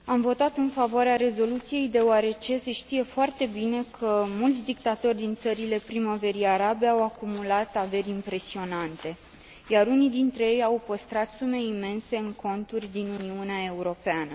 Am votat în favoarea rezoluției, deoarece se știe foarte bine că mulți dictatori din țările Primăverii arabe au acumulat averi impresionante, iar unii dintre ei au păstrat sume imense în conturi din Uniunea Europeană.